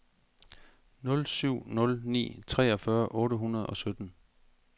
nul syv nul ni treogfyrre otte hundrede og sytten